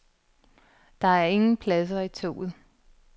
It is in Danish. Der er ingen pladser i toget.